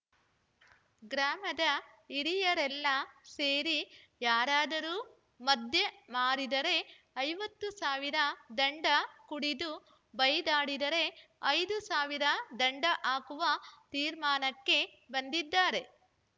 ಗ್ರಾಮದ ಹಿರಿಯರೆಲ್ಲ ಸೇರಿ ಯಾರಾದರೂ ಮದ್ಯ ಮಾರಿದರೆ ಐವತ್ತು ಸಾವಿರ ದಂಡ ಕುಡಿದು ಬೈದಾಡಿದರೆ ಐದು ಸಾವಿರ ದಂಡ ಹಾಕುವ ತೀರ್ಮಾನಕ್ಕೆ ಬಂದಿದ್ದಾರೆ